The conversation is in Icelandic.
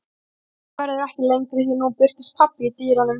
En ræðan verður ekki lengri því að nú birtist pabbi í dyrunum.